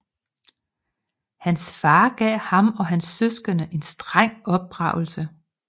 Hans far gav ham og hans søskende en streng opdragelse